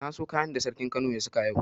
Na so kayan da sarkin kano ya saka yau.